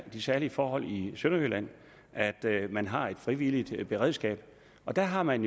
særlige forhold i sønderjylland at man har et frivilligt beredskab og der har man